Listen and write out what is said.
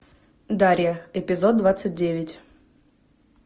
дарья эпизод двадцать девять